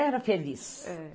Era feliz.